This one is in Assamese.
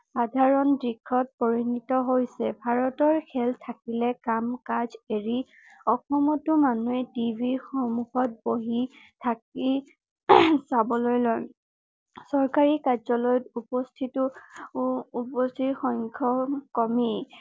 চাবলৈ লয় চৰকাৰী কাৰ্য্যালয়ত উপস্থিতো উপস্থিত সংখ্য কমি